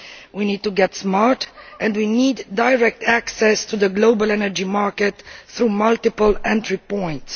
We need to get smart and we need direct access to the global energy market through multiple entry points.